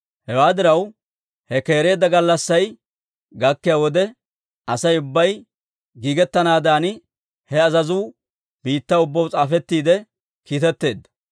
Hewaa diraw, he keereedda gallassay gakkiyaa wode, Asay ubbay giigettanaadan, he azazuu biittaw ubbaw s'aafetiidde kiitetteedda.